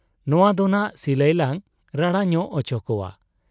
ᱱᱚᱶᱟ ᱫᱚᱱᱷᱟᱜ ᱥᱤᱞᱟᱹᱭ ᱞᱟᱝ ᱨᱟᱲᱟ ᱧᱚᱜ ᱚᱪᱚ ᱠᱚᱣᱟ ᱾